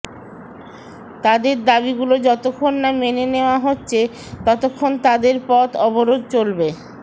তাদের দাবিগুলো যতক্ষণ না মেনে নেওয়া হচ্ছে ততক্ষণ তাদের পথ অবরোধ চলবে